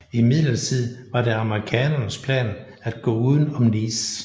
Imidlertid var det amerikanernes plan at gå uden om Nice